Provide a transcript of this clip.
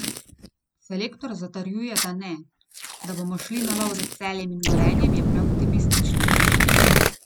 Selektor zatrjuje, da ne: 'Da bomo šli na lov za Celjem in Gorenjem, je preoptimistično.